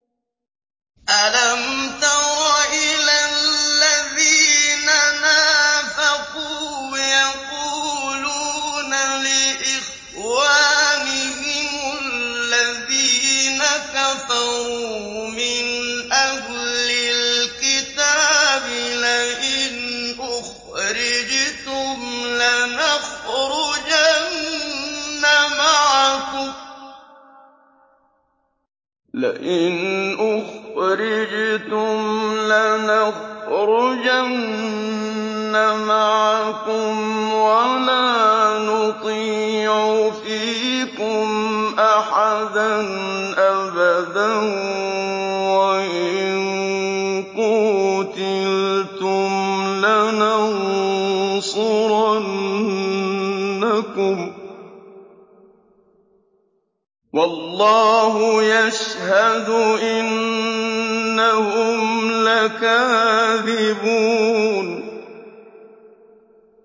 ۞ أَلَمْ تَرَ إِلَى الَّذِينَ نَافَقُوا يَقُولُونَ لِإِخْوَانِهِمُ الَّذِينَ كَفَرُوا مِنْ أَهْلِ الْكِتَابِ لَئِنْ أُخْرِجْتُمْ لَنَخْرُجَنَّ مَعَكُمْ وَلَا نُطِيعُ فِيكُمْ أَحَدًا أَبَدًا وَإِن قُوتِلْتُمْ لَنَنصُرَنَّكُمْ وَاللَّهُ يَشْهَدُ إِنَّهُمْ لَكَاذِبُونَ